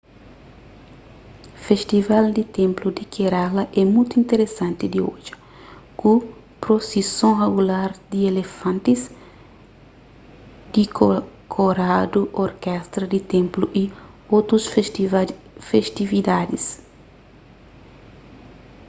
festival di ténplu di kerala é mutu interesanti di odja ku prosison regular di elefantis dikoradu orkestra di ténplu y otus festividadis